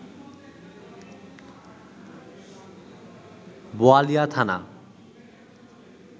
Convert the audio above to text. বোয়ালিয়া থানা